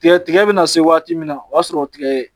Tigɛ tigɛ bɛ na se waati min na o b'a sɔrɔ tigɛ ye